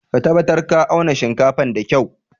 Ka tabatar ka auna shinkafan da kyua!